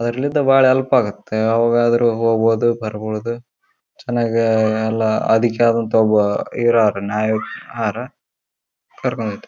ಅರಳಿದ ಬಹಳ ಹೆಲ್ಪ್ ಆಗುತ್ತೆ ಯಾವಾಗಾದ್ರೂ ಹೋಗ್ಬಹುದು ಬರಬಹುದು ಚೆನ್ನಾಗಿ ಎಲ್ಲ ಅದಕೆ ಆದಂತ ಒಬ್ಬ ಅವ್ರ್ ಇರಾರ್ ನಾವಿಕ ಹಾರಾ ಕರಕೊಂಡು ಹೋತರ .